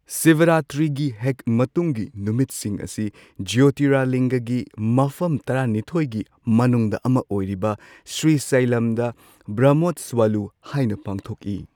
ꯁꯤꯚꯔꯥꯇ꯭ꯔꯤꯒꯤ ꯍꯦꯛ ꯃꯇꯨꯡꯒꯤ ꯅꯨꯃꯤꯠꯁꯤꯡ ꯑꯁꯤ ꯖ꯭ꯌꯣꯇꯤꯔꯂꯤꯡꯒꯒꯤ ꯃꯐꯝ ꯇꯔꯥꯅꯤꯊꯣꯏꯒꯤ ꯃꯅꯨꯡꯗ ꯑꯃ ꯑꯣꯏꯔꯤꯕ ꯁ꯭ꯔꯤꯁꯥꯏꯂꯝꯗ ꯕ꯭ꯔꯍꯃꯣꯠꯁ꯭ꯋꯥꯂꯨꯍꯥꯏꯅ ꯄꯥꯡꯊꯣꯛꯏ꯫